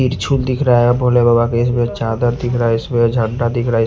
बिच्छू दिख रहा है भोले बाबा के इसमें चादर दिख रहा है इसमें झंडा दिख रहा--